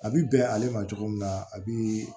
A bi bɛn ale ma cogo min na a bi